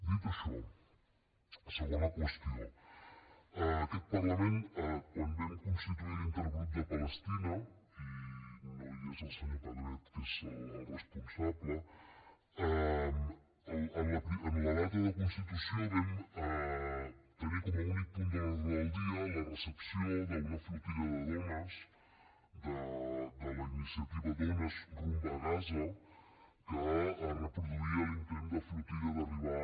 dit això segona qüestió aquest parlament quan vam constituir l’intergrup per palestina i no hi és el senyor pedret que n’és el responsable en la data de constitució vam tenir com a únic punt de l’ordre del dia la recepció d’una flotilla de dones de la iniciativa dones rumb a gaza que reproduïa l’intent de flotilla d’arribar